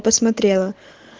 посмотрела